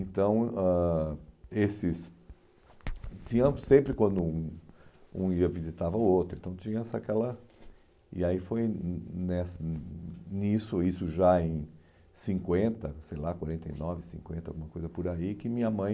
Então, ãh esses... Tinha sempre quando um um ia visitar o outro, então tinha essa aquela... E aí foi nessa nisso, isso já em cinquenta, sei lá, quarenta e nove, cinquenta, alguma coisa por aí, que minha mãe...